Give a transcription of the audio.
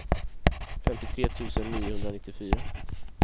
femtiotre tusen niohundranittiofyra